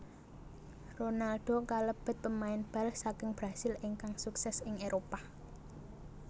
Ronaldo kalebet pemain bal saking Brasil ingkang sukses ing Éropah